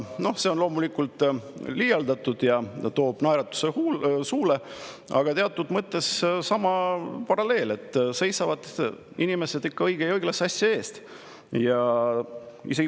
Noh, see on loomulikult liialdus ja toob naeratuse suule, aga teatud mõttes on siin see paralleel, et inimesed seisavad ikka õige ja õiglase asja eest.